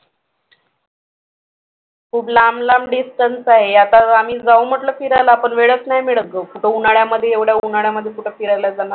खूप लांब लांब distance आहे आता आम्ही जाऊ म्हंटल फिरायला पण वेळच नाही मिळत गं कुठं उन्हाळ्यामध्ये एवढ्या उन्हाळ्यामध्ये कुठं फिरायला जाणार